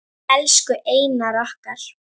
Elsku Einar okkar.